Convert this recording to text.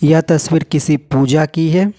यह तस्वीर किसी पूजा की है।